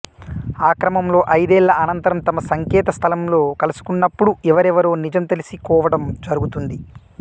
ఆక్రమంలో ఐదేళ్ల అనంతరం తమ సంకేత స్థలంలో కలుసుకున్నపుడు ఎవరెవరో నిజం తెలిసికోవటం జరుగుతుంది